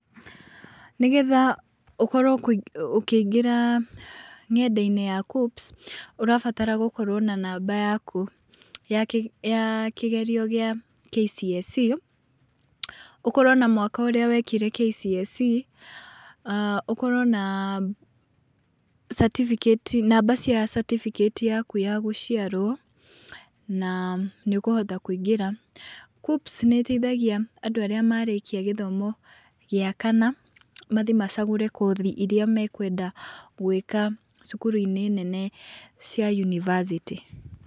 Nĩgetha ũkorwo ũkĩingĩra ngenda-inĩ ya KUCCPS ũrabatara gũkorwo na namba yaku ya kĩgerio kĩa KCSE, ũkorwo na mwaka ũrĩa wekĩre KCSE, ũkorwo na namba cia catibikĩti yaku ya gũciarwo na nĩ ũkũhota kũingĩra. KUCCPS nĩ ĩteithagia andũ arĩa marĩkia gĩthomo gĩa kana mathiĩ macagũre kothi iria makwenda gwĩka cukuru-inĩ nene cia yunibasĩtĩ.